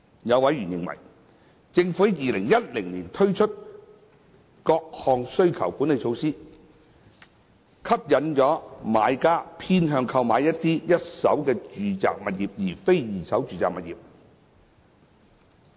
有委員認為，政府自2010年起推出的各項需求管理措施，吸引買家偏向購買一手住宅物業而非二手住宅物業。